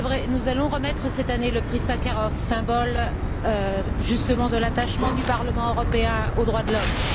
Nous allons remettre cette année le prix Sakharov, symbole de l'attachement du Parlement européen aux droits de l'homme.